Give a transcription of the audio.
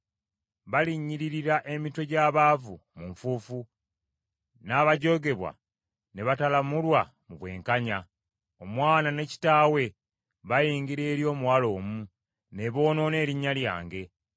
Balinnyiririra emitwe gy’abaavu mu nfuufu, n’abajoogebwa ne batalamulwa mu bwenkanya. Omwana ne kitaawe bayingira eri omuwala omu ne boonoona erinnya lyange.